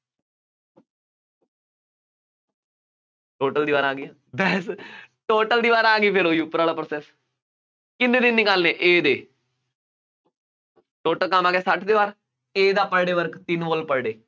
total ਦੀਵਾਰਾਂ ਆ ਗਈਆਂ, total ਦੀਵਾਰਾਂ ਆ ਗਈਆਂ, ਫੇਰ ਉਹੀ ਉੱਪਰ ਵਾਲਾ process ਕਿਹਦੇ ਦਿਨ ਨਿਕਾਲਣੇ A ਦੇ, total ਕੰਮ ਆ ਗਿਆ, ਸੱਠ ਦੀਵਾਰ, A ਦਾ per day work ਤਿੰਨ wall per day